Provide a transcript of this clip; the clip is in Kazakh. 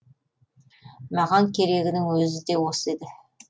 маған керегінің өзі де осы еді